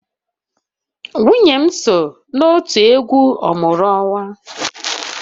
Nwunye m so n'òtù egwu ọmụrụ-anyị